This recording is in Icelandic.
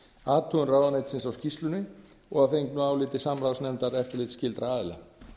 athugun ráðuneytisins á skýrslunni og að fengnu áliti samráðsnefndar eftirlitsskyldra aðila